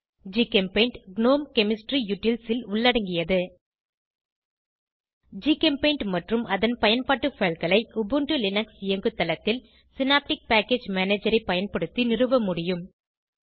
GChemPaint GNOME chemistry utils ல் உள்ளடங்கியது GChemPaint மற்றும் அதன் பயன்பாட்டு fileகளை உபுண்டு லினக்ஸ் இயங்குதளத்தில் சினாப்டிக் பேக்கேஜ் மேனஜரை பயன்படுத்தி நிறுவ முடியும்